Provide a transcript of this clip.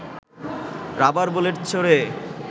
rubber bullet ছোড়ে